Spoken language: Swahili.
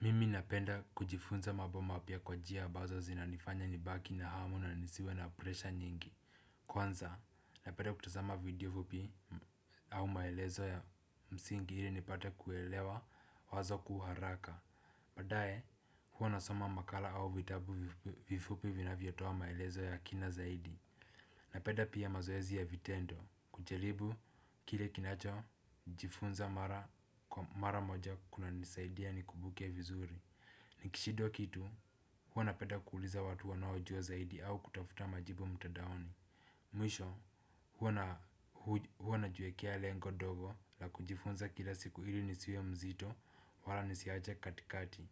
Mimi napenda kujifunza mambo mapya kwa njia ambazo zinanifanya nibaki na hamu na nisiwe na presha nyingi. Kwanza, napenda kutazama video fupi au maelezo ya msingi ili nipate kuelewa wazo kwa haraka. Baadae, huwa nasoma makala au vitabu vifupi vinavyotoa maelezo ya kina zaidi. Napenda pia mazoezi ya vitendo. Kujaribu kile kinachojifunza mara moja kunanisaidia nikumbuke vizuri. Nikishidwa kitu huwa napeda kuuliza watu wanaojua zaidi au kutafuta majibu mtadaoni. Mwisho huwa najiwekea lengo dogo la kujifunza kila siku ili nisiwe mzito wala nisiache katikati.